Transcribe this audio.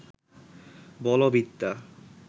বলবিদ্যা